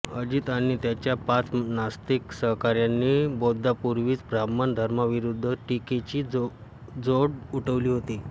अजित आणि त्याच्या पाच नास्तिक सहकाऱ्यांनी बौद्धापूर्वीच ब्राह्मण धर्माविरुद्ध टीकेची झोड उठवली होती